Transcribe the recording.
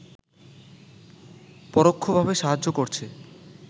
পরোক্ষভাবে সাহায্য করছে